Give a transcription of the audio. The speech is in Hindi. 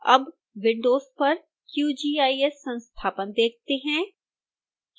अब windows पर qgis संस्थापन देखते हैं